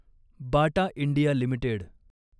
Bata India limited